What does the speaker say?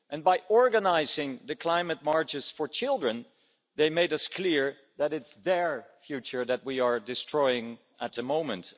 By organising the climate marches for children they made it clear to us that it's their future that we are destroying at the moment.